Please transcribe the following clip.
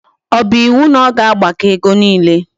O bu iwu na o ga agbako ego niile?